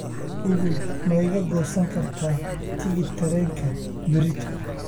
google ma iga goosan kartaa tigidh tareenka berrito